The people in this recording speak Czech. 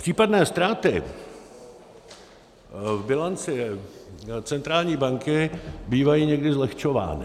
Případné ztráty v bilanci centrální banky bývají někdy zlehčovány.